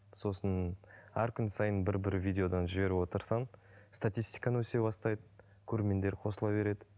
сосын әр күн сайын бір бір видеодан жіберіп отырсаң статистикаң өсе бастайды көрермендер қосыла береді